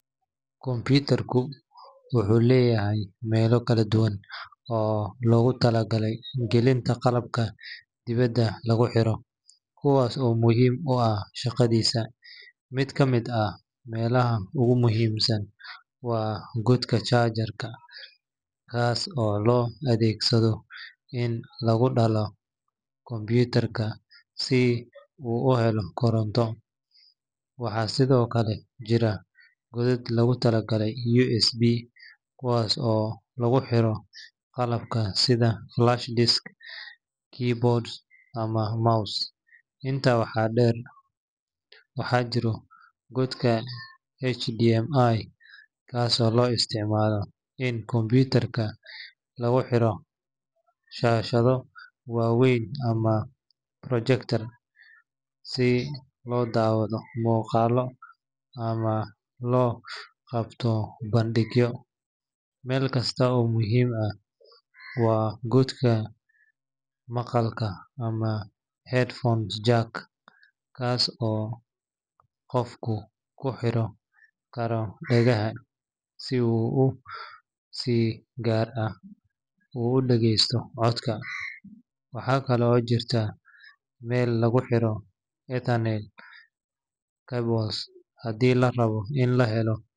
Computer-ku wuxuu leeyahay meelo kala duwan oo loogu talagalay gelinta qalabka dibadda lagu xiro, kuwaas oo muhiim u ah shaqadiisa. Mid ka mid ah meelaha ugu muhiimsan waa godka charger-ka, kaas oo loo adeegsado in lagu dallaco computer-ka si uu u helo koronto. Waxaa sidoo kale jira godad loogu talagalay USB, kuwaas oo lagu xiro qalabka sida flash disk, keyboard, ama mouse. Intaa waxaa dheer, waxaa jira godka HDMI, kaasoo loo isticmaalo in computer-ka lagu xiro shaashado waaweyn ama projector si loo daawado muuqaallo ama loo qabto bandhigyo. Meel kale oo muhiim ah waa godka maqalka ama headphone jack, kaas oo qofku ku xiri karo dhagaha si uu si gaar ah u dhageysto codka. Waxaa kale oo jirta meel lagu xiro ethernet cable haddii la rabo in la helo.